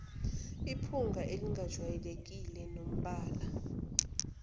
iphunga elingajwayelekile nombala